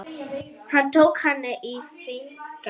Hann tók hana í fangið.